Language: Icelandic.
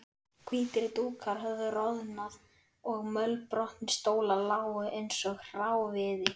Hvítir dúkar höfðu roðnað og mölbrotnir stólar lágu einsog hráviði.